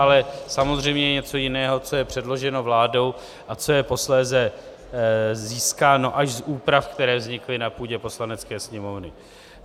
Ale samozřejmě je něco jiného, co je předloženo vládou a co je posléze získáno až z úprav, které vznikly na půdě Poslanecké sněmovny.